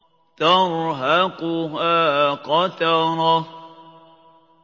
تَرْهَقُهَا قَتَرَةٌ